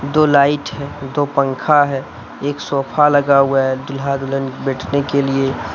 दो लाइट है दो पंखा है एक सोफा लगा हुआ है दूल्हा दुल्हन बैठने के लिए।